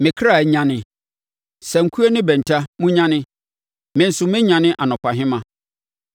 Me kra nyane! Sankuo ne bɛnta, monnyane! Me nso mɛnyane anɔpahema.